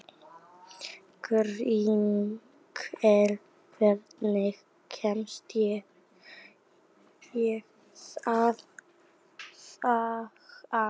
Grímkell, hvernig kemst ég þangað?